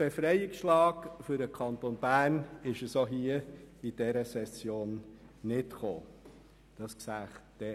Es kam auch in dieser Session nicht zu einem Befreiungsschlag des Kantons Bern.